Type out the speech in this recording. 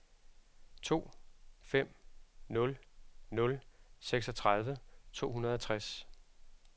to fem nul nul seksogtredive to hundrede og tres